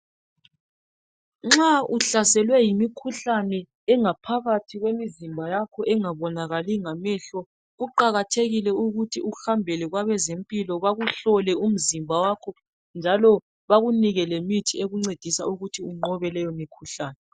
Nxa uhlaselwe yimikhuhlane engaphakathi kwemizimba yakho engabonakali ngamehlo kuqakathekile ukuthi uhambele kwabezempilo bakuhlole umzimba wakho njalo bakunike lemithi ekuncedisa ukuthi unqobe leyomikhuhlane.